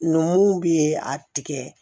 Numuw bɛ a tigɛ